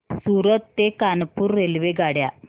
सूरत ते कानपुर रेल्वेगाड्या